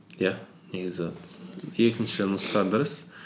иә негізі екінші нұсқа дұрыс